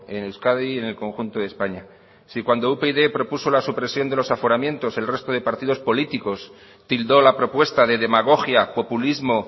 en euskadi y en el conjunto de españa si cuando upyd propuso la supresión de los aforamientos el resto de partidos políticos tildó la propuesta de demagogia populismo